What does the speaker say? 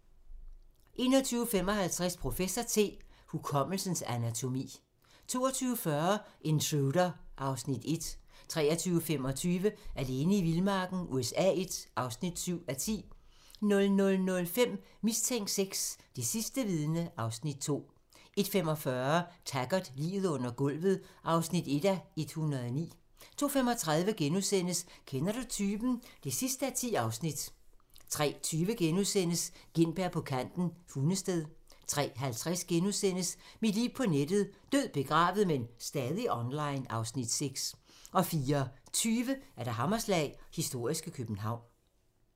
21:55: Professor T: Hukommelsens anatomi 22:40: Intruder (Afs. 1) 23:25: Alene i vildmarken USA I (7:10) 00:05: Mistænkt VI: Det sidste vidne (Afs. 2) 01:45: Taggart: Liget under gulvet (1:109) 02:35: Kender du typen? (10:10)* 03:20: Gintberg på kanten – Hundested * 03:50: Mit liv på nettet: Død, begravet, men stadig online (Afs. 6)* 04:20: Hammerslag - historiske København *